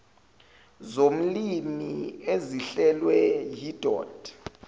zolimi ezihlelwe yidod